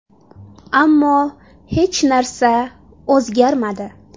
Ammo hech narsa o‘zgarmadi.